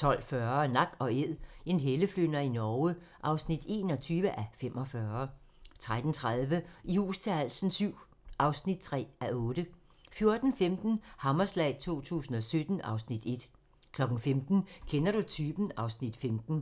12:40: Nak & Æd - en helleflynder i Norge (21:45) 13:30: I hus til halsen VII (3:8) 14:15: Hammerslag 2017 (Afs. 1) 15:00: Kender du typen? (Afs. 15)